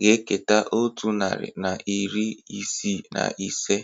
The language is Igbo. ga-eketa otu narị na iri isii na ise